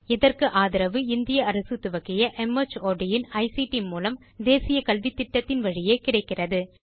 இதற்கு ஆதரவு இந்திய அரசு துவக்கிய மார்ட் இன் ஐசிடி மூலம் தேசிய கல்வித்திட்டத்தின் வழியே கிடைக்கிறது